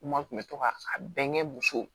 Kuma tun bɛ to ka a bɛnkɛ musow